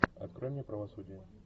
открой мне правосудие